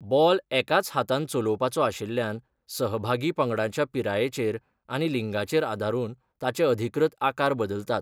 Ball एकाच हातान चलोवपाचो आशिल्ल्यान, सहभागी पंगडांच्या पिरायेचेर आनी लिंगाचेर आदारून ताचे अधिकृत आकार बदलतात.